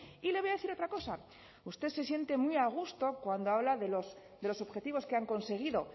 y le voy a decir otra cosa usted se siente muy a gusto cuando habla de los objetivos que han conseguido